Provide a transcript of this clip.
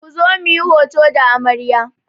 Ku zo muyi hoto da amarya!